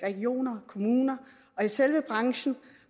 regioner og kommuner og i selve branchen